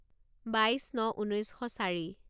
বাইছ ন ঊনৈছ শ চাৰি